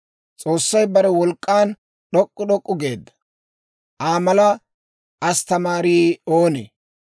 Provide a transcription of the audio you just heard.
«S'oossay bare wolk'k'an d'ok'k'u d'ok'k'u geedda! Aa mala asttamaarii oonee?